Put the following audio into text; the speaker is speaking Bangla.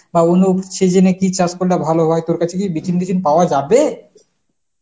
বা অন্য season এ কী চাষ করলে ভালো হয়, তোর কাছে কি বিচুন টিচুন পাওয়া যাবে?